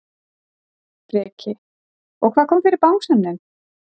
Breki: Og hvað kom fyrir bangsann þinn?